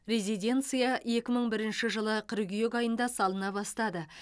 резиденция екі мың бірінші жылы қыркүйек айында салына бастады